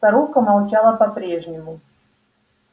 старуха молчала по прежнему